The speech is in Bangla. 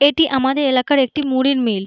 এইটি আমাদের এলাকার একটি মুড়ির মিল ।